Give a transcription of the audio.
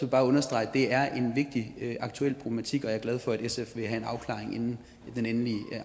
bare understrege at det er en vigtig og aktuel problematik og jeg er glad for at sf vil have en afklaring inden den endelige